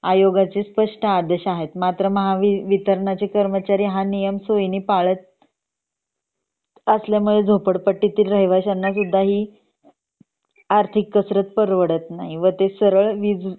आयोगाचे स्पष्ट आदेश आहेत मात्र महावितरणाचे कर्मचारी हा नियम सोयीने पाळत असल्यामुळे झोपडपट्टी मधील राहिवश्यांना ही आर्थिक कसरत परवडत नाही ते सरल वीज